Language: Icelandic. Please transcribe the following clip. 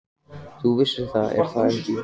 Þú vissir það, er það ekki?